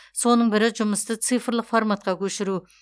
соның бірі жұмысты цифрлық форматқа көшіру